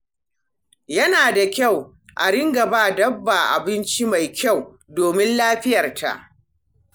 Yana da kyau a riƙa ba dabba abinci mai kyau domin lafiyarta.